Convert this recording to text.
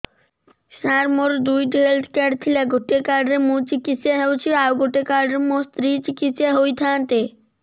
ସାର ମୋର ଦୁଇଟି health card ଥିଲା ଗୋଟେ କାର୍ଡ ରେ ମୁଁ ଚିକିତ୍ସା ହେଉଛି ଆଉ ଗୋଟେ କାର୍ଡ ରେ ମୋ ସ୍ତ୍ରୀ ଚିକିତ୍ସା ହୋଇଥାନ୍ତେ